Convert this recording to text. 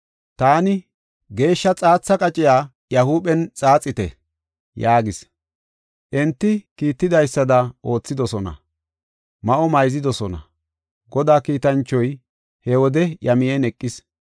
Taani, “Geeshsha xaatha qaciya iya huuphen xaaxite” yaagis. Enti kiittidaysada oothidosona; ma7o mayzidosona. Godaa kiitanchoy he wode iya miyen eqis.